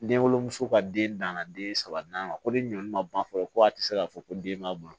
Denwoloso ka den danna den saba naani ma ko de ɲɔ ma ban fɔlɔ ko a ti se ka fɔ ko den ma bolo